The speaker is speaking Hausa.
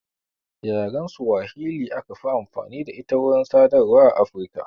Yaren swahili aka fi amfani da ita wurin sadarwa a Afirika